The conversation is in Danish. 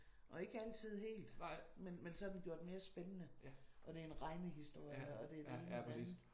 Og ikke altid helt men men så er den gjort mere spændende og det er en regnehistorie og det er det ene og det andet